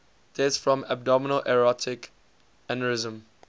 deaths from abdominal aortic aneurysm